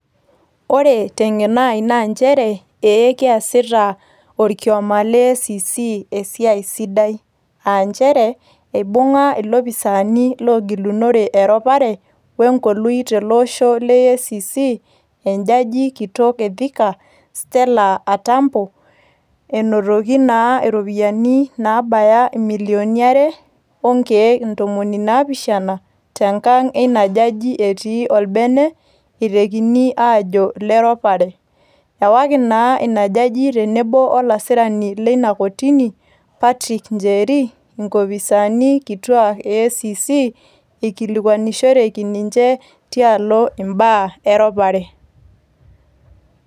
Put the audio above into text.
Ore teng'eno ai na njere, ee keasita orkioma le EACC esiai sidai. Ah njere, ibung'a ilopisaani logilunore eropare ,we nkolui teloosho le EACC, ejaji kitok e Thika, Stella Atambo, enotoki naa iropiyiani nabaya imilioni are onkeek ntomoni naapishana, tenkang' ina jaji etii olbene, eitekini aajo ileropare. Ewaki naa ina jaji tenebo olasirani lina kotini, Patrick Njeri, inkopisaani kituak e EACC, ikilikwanishoreki ninche, tialo imbaa eropare.